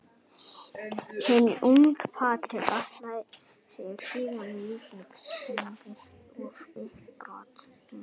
Hinn ungi Patrik Atlason tryggði síðan Víkingum sigurinn í uppbótartíma.